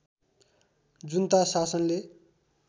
जुन्ता शासनले